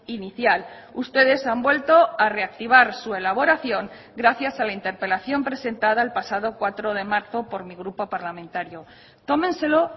inicial ustedes han vuelto a reactivar su elaboración gracias a la interpelación presentada el pasado cuatro de marzo por mi grupo parlamentario tómenselo